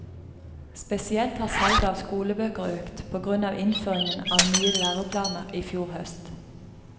Spesielt har salget av skolebøker økt, på grunn av innføringen av nye læreplaner i fjor høst.